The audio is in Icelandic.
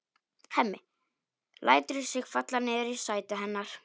Hemmi lætur sig falla niður í sætið hennar.